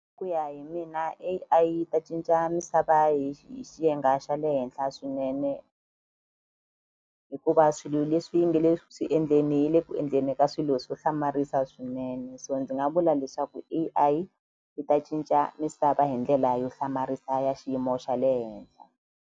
Hi ku ya hi mina A_I yi ta cinca misava hi hi xiyenge xa le henhla swinene hikuva swilo leswi yi nge le swi endleni yi le ku endleni ka swilo swo hlamarisa swinene so ndzi nga vula leswaku A_I yi ta cinca misava hi ndlela yo hlamarisa ya xiyimo xa le henhla.